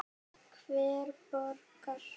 Hver borgar?